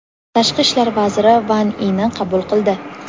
Tashqi ishlar vaziri Van Ini qabul qildi.